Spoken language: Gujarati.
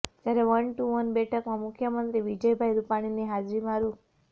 જયારે વન ટુ વન બેઠકમાં મુખ્યમંત્રી વિજયભાઈ રૂપાણીની હાજરીમાં રૂ